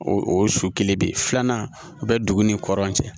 O o su kelen de filanan o bɛ dugu ni kɔlan cɛ